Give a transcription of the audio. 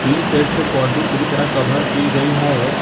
Tin shed से boundary पूरी तरह कभर की गई है।